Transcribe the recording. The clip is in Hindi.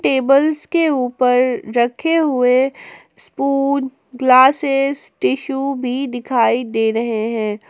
टेबल्स के ऊपर रखे हुए स्पून ग्लासेस टिसू भी दिखाई दे रहे हैं।